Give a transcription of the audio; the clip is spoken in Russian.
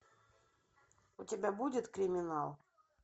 у тебя будет криминал